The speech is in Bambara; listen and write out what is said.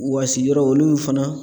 Wasi yɔrɔ olu fana.